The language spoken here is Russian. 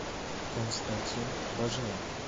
константин баженов